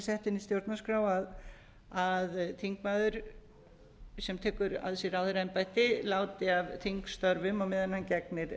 sett inn í stjórnarskrá að þingmaður sem tekur að sér ráðherraembætti láti af þingstörfum á meðan hann gegnir